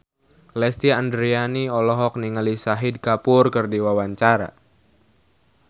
Lesti Andryani olohok ningali Shahid Kapoor keur diwawancara